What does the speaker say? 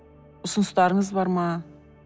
ұсыныстарыңыз бар ма